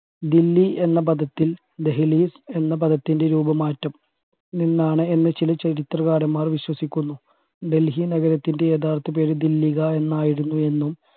ദില്ലി എന്ന പദത്തിൽ ദേഹലീസ് എന്ന പദത്തിൻറെ രൂപമാറ്റം നിന്നാണ് എന്ന ചില ചരിത്രകാരന്മാർ വിശ്വസിക്കുന്നു ഡൽഹി നഗരത്തിൻറെ യഥാർത്ഥ പേര് ദില്ലിക എന്നായിരുന്നു എന്നും